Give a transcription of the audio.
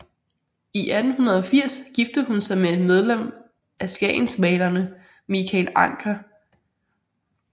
I 1880 giftede hun sig med et medlem af skagensmalerne Michael Ancher